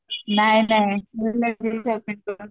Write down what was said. नाही नाही मुलांना येते सोडून